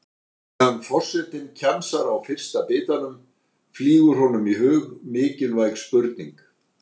Á meðan forsetinn kjamsar á fyrsta bitanum flýgur honum í hug mikilvæg spurning.